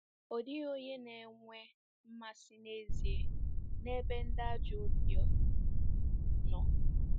Ọ dịghị onye na-enwe mmasị n’ezie n’ebe “ ndị ajọ obiọ" nọ.